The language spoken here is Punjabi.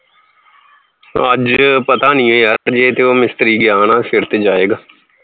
ਅੱਜ ਪਤਾ ਨੀ ਇਹ ਜੇ ਤੇ ਉਹ ਮਿਸਤਰੀ ਗਿਆ ਨਾ ਫਿਰ ਤੇ ਜਾਏਗਾ